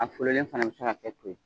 A fɔlɔlen fana bɛ se ka kɛ to ye